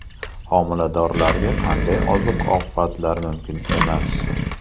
Homiladorlarga qanday oziq-ovqatlar mumkin emas?.